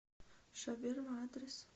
шаверма адрес